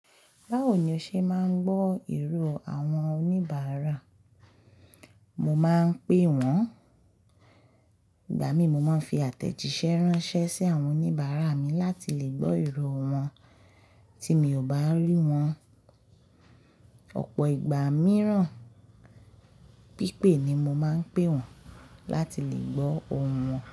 Báwo ni o ṣe máa ń gbọ́ ìró àwọn oníbàárà? Mo máa ń pe wọ́n, ìgbà mí mo máa ń fi àtẹ̀jísẹ́ ránṣẹ́ sí àwọn oníbàárà mi láti lè gbọ́ ìró wọn tí mi ò bá rí wọn. Ọ̀pọ̀ ìgbà mìíràn pípé ni mo máa ń pe wọ́n láti lè gbó ohùn wọn.